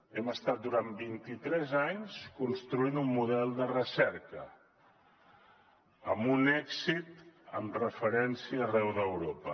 hem estat durant vint i tres anys construint un model de recerca amb un èxit en referència arreu d’europa